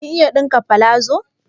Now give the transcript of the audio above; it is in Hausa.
Kin iya ɗinka palazo?